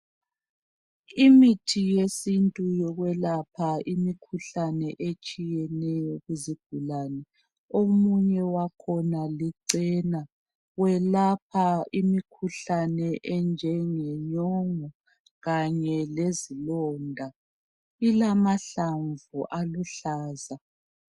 Imithi yesintu yokwelapha imikhuhlane etshiyeneyo kuzigulane omunye wakhona licena welapha imikhuhlane enjenge nyongo kanye lezilonda ilamahlamvu aluhlaza.